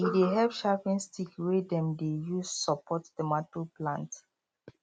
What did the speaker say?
e dey help sharpen stick wey dem dey use support tomato plant